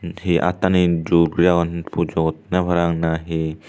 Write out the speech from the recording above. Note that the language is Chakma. he aatani jur guri agon pujo ottone parapang na he.